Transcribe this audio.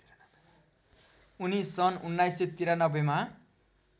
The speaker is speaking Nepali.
उनी सन् १९९३ मा